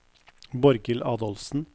Borghild Adolfsen